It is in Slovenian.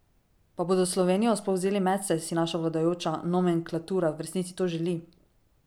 Pa bodo Slovenijo sploh vzeli medse, si naša vladajoča nomenklatura v resnici to želi?